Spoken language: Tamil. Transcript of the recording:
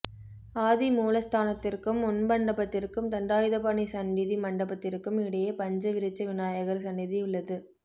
ஆதிமூலஸ்தானத்திற்கும் முன்மண்டபத்திற்கும் தண்டாயுதபாணி சன்னிதி மண்டபத்திற்கும் இடையே பஞ்ச விருட்ச விநாயகர் சன்னிதி உள்ளது